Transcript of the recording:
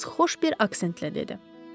Qız xoş bir aksentlə dedi.